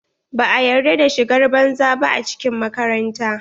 Ba a yarda da shigar banza ba a cikin makaranta.